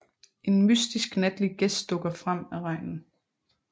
En mystisk natlig gæst dukker frem af regnen